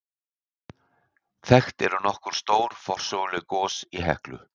Þekkt eru nokkur stór forsöguleg gos í Heklu.